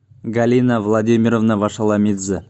галина владимировна вашаломидзе